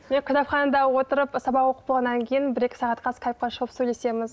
мен кітапханада отырып сабақ оқып болғаннан кейін бір екі сағатқа скайпқа шығып сөйлесеміз